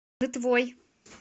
нытвой